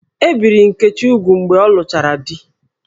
E biri Nkechi úgwù mgbe ọ lụchara di